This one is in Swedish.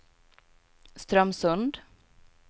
Strömsund